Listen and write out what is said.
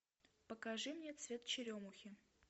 покажи мне цвет черемухи